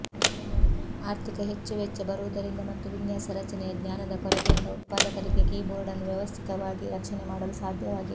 ಆರ್ಥಿಕ ಹೆಚ್ಚು ವೆಚ್ಚ ಬರುವುದರಿಂದ ಮತ್ತು ವಿನ್ಯಾಸ ರಚನೆಯ ಜ್ಙಾನದ ಕೊರತೆಯಿಂದ ಉತ್ಪಾದಕರಿಗೆ ಕೀಬೋರ್ಡ್ನನ್ನು ವ್ಯವಸ್ಥಿತವಾಗಿ ರಕ್ಷಣೆ ಮಾಡಲು ಸಾಧ್ಯವಾಗಿಲ್ಲ